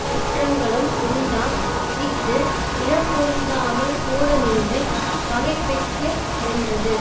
குற்றங்களும் உண்டாம் இஃது இனம் பொருந்தாமல் கூடநின்றுப் பகைப்பிக்கு மென்றது